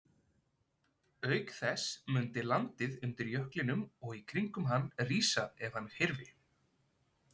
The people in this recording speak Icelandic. Auk þess mundi landið undir jöklinum og í kringum hann rísa ef hann hyrfi.